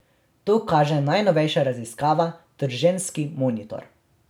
To kaže najnovejša raziskava Trženjski monitor.